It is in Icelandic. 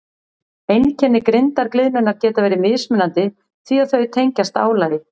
Einkenni grindargliðnunar geta verið mismunandi því að þau tengjast álagi.